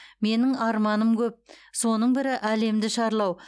менің арманым көп соның бірі әлемді шарлау